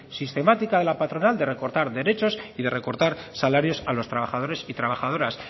sistemática de la patronal de recortar derechos y de recortar salarios a los trabajadores y trabajadoras